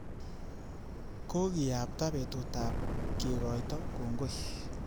Kokiyabta betutab kekekoito kongoi